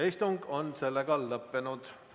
Istung on lõppenud.